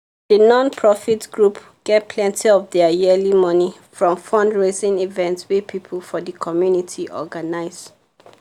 the non-profit group get plenty of their yearly money from fundraising events wey people for the community organize.